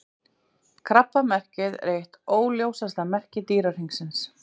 Krabbamerkið er eitt óljósasta merki Dýrahringsins.